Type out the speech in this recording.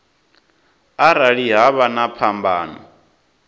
arali ha vha na phambano